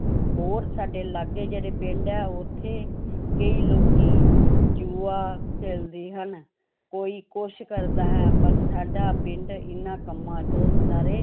ਹੋਰ ਸਾਡੇ ਲਾਗੇ ਜਿਹੜੇ ਪਿੰਡ ਹੈ ਉੱਥੇ ਕਈ ਲੋਕੀ ਜੂਆ ਖੇਲਦੇ ਹਨ, ਕੋਈ ਕੁਛ ਕਰਦਾ ਹੈ, ਪਰ ਸਾਡਾ ਪਿੰਡ ਇਹਨਾਂ ਕੰਮਾਂ ਤੋਂ ਸਾਰੇ